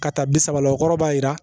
Ka taa bi sabala o kɔrɔ b'a yira